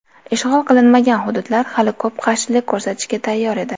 Ishg‘ol qilinmagan hududlar hali ko‘p qarshilik ko‘rsatishga tayyor edi.